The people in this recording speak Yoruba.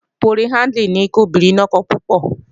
Poliándírì ni kí obìnrin ni ọkọ púpọ̀